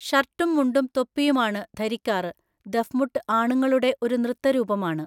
ഷർട്ടും മുണ്ടും തൊപ്പിയുമാണ് ധരിക്കാറ് ദഫ് മുട്ട് ആണുങ്ങളുടെ ഒരു നൃത്തരൂപമാണ്